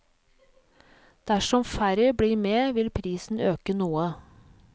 Dersom færre blir med vil prisen øke noe.